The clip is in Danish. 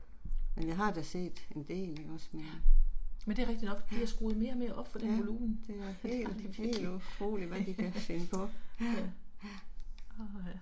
Men jeg har da set en del ikke også men. Ja, ja det er helt helt utroligt hvad de kan finde på, ja